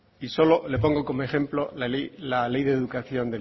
y solo le pongo como ejemplo la ley de educación